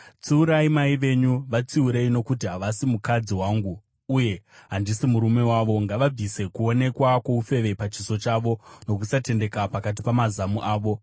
“Tsiurai mai venyu, vatsiurei, nokuti havasi mukadzi wangu, uye handisi murume wavo. Ngavabvise kuonekwa kwoufeve pachiso chavo nokusatendeka pakati pamazamu avo.